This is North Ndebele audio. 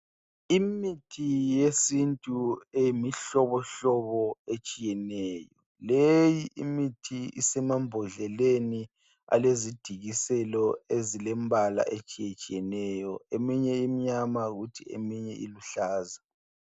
Imithi yesintu eyimihlobohlobo etshiyeneyo. Leyi imithi isemambodleleni alezidikiselo ezilembala etshiyetshiyeneyo. Eminye imnyama kuthi eminye iluhlaza.